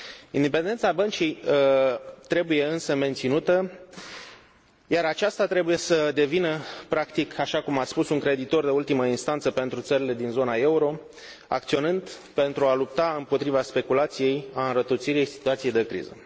Independența Băncii trebuie, însă, menținută, iar aceasta trebuie să devină, practic, așa cum ați spus, un creditor de ultimă instanță pentru țările din zona euro, acționând pentru a lupta împotriva speculației, a înrăutățirii situației de criză.